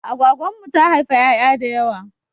Agwagwan mu ta haifa 'ya'ya da yawa.